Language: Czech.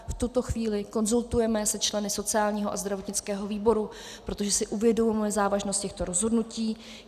V tuto chvíli konzultujeme se členy sociálního a zdravotnického výboru, protože si uvědomujeme závažnost těchto rozhodnutí.